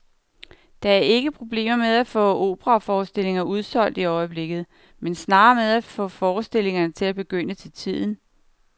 Der er ikke problemer med at få operaforestillinger udsolgt i øjeblikket, men snarere med at få forestillingerne til at begynde til tiden.